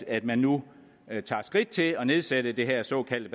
at man nu tager skridt til at nedsætte det her såkaldte